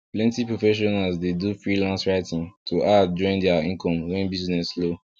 plenty professionals dey do freelance writing to add join their income when business slow